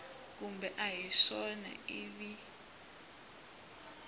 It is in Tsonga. kumbe a hi swona ivi